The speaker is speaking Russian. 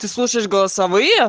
ты слушаешь голосовые